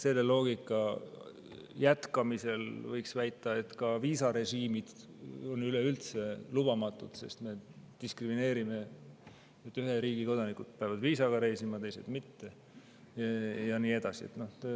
Selle loogika kohaselt võiks väita, et viisarežiimid on üleüldse lubamatud, sest me diskrimineerime: ühe riigi kodanikud peavad viisaga reisima ja teised mitte, ja nii edasi.